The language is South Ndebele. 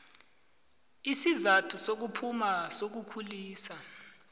isizathu sokuphuma sokulisa